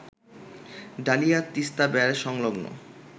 dahlia Teesta barrage সংলগ্ন